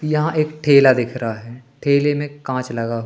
यहां एक ठेला दिख रहा है ठेले में कांच लगा--